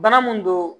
Bana mun don